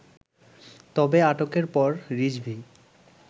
তবে, আটকের পর রিজভী